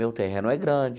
Meu terreno é grande,